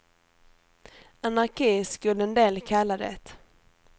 Anarki skulle en del kalla det.